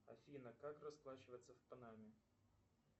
афина как расплачиваться в панаме